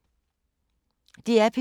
DR P2